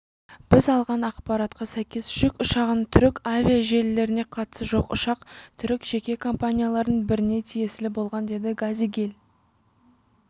біз алған ақпаратқа сәйкес жүк ұшағының түрік авиажелілеріне қатысы жоқ ұшақ түрік жеке компанияларының біріне тиесілі болған деді газигиль